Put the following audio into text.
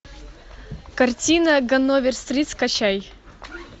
картина ганновер стрит скачай